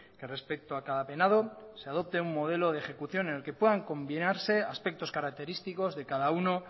que respecto a cada penado se adopte un modelo de ejecución en el que puedan combinarse aspectos característicos de cada uno